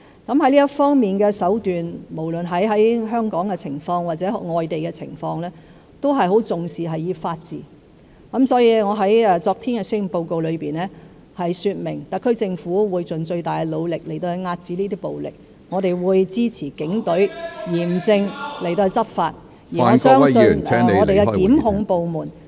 就這方面的手段，香港或外地均十分重視法治，所以，我昨天在施政報告中說明，特區政府會盡最大努力遏止暴力，我們亦會支持警隊嚴正執法，相信檢控部門和司法機關日後也會處理這些......